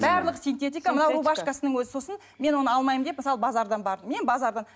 барлығы синтетика мынау рубашкасының өзі сосын мен оны алмаймын деп мысалы базардан бардым мен базарда